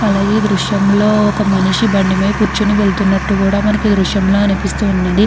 అలాగే ఈ దృశ్యం లో ఒక మనిషి బండి మీద కూర్చుని వెళ్తున్నట్టుగా మనకి ఈ దృశ్యం లో అనిపిస్తున్నది.